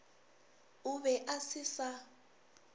o be a se sa